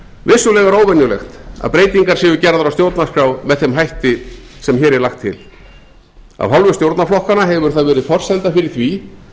vissulega er óvenjulegt að breytingar séu gerðar á stjórnarskrá með þeim hætti sem hér er lagt til af hálfu stjórnarflokkanna hefur það verið forsenda fyrir því